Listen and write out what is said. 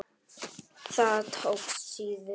Það tókst síður.